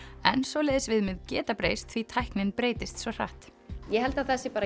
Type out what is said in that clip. en svoleiðis viðmið geta breyst því tæknin breytist svo hratt ég held að það sé